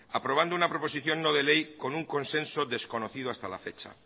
aprobando una proposición no de ley con un consenso desconocido hasta la fecha